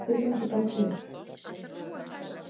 Spyrjandi bætir við: Hefur eitthvað verið þýtt eftir hann?